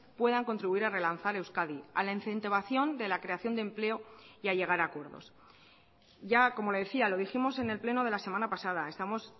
puedan contribuir a relanzar euskadi a la incentivación de la creación de empleo y a llegar a acuerdos ya como le decía lo dijimos en el pleno de la semana pasada estamos